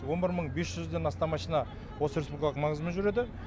он бір мың бес жүзден астам машина осы республикалық маңызымен жүреді